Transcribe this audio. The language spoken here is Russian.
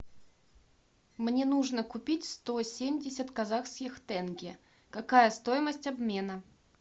мне нужно купить сто семьдесят казахских тенге какая стоимость обмена